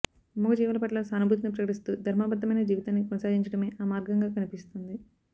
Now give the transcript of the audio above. మూగజీవాలపట్ల సానుభూతిని ప్రకటిస్తూ ధర్మబద్ధమైన జీవితాన్ని కొనసాగించడమే ఆ మార్గంగా కనిపిస్తుంది